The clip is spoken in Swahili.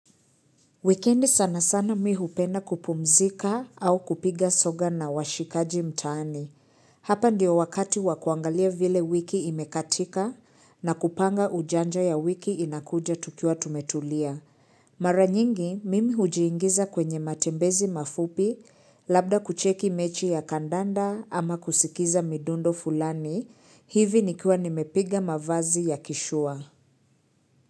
Wikendi sana sana mimi hupenda kupumzika au kupiga soga na washikaji mtaani. Hapa ndiyo wakati wa kuangalia vile wiki imekatika na kupanga ujanja ya wiki inakuja tukiwa tumetulia. Mara nyingi mimi hujiingiza kwenye matembezi mafupi labda kucheki mechi ya kandanda ama kusikiza midundo fulani hivi nikiwa nimepiga mavazi ya kishua.